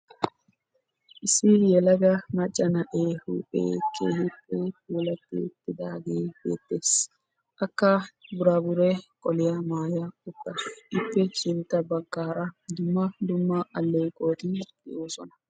Issi yelaga maca na'ee huuphe keehippe lo'i uttidaage beetes. Akka qassi burabre qolliya maayassu.